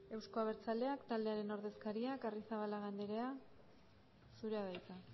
euzko abertzaleak taldearen ordezkariak arrizabalaga andrea zurea da hitza